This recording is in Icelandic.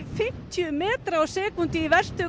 fjörutíu metra á sekúndu í verstu